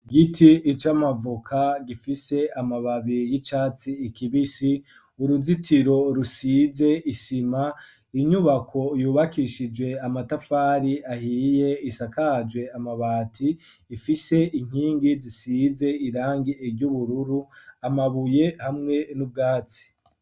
Igiti c'amavuoka gifise amababi y'icatsi ikibisi uruzitiro rusize isima inyubako yubakishijwe amatafari ahiye isakaje amabati ifise inkingi zisize irangi ryubururu amabuye hamwe n'ubwatsi